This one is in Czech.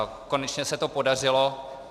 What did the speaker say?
Konečně se to podařilo.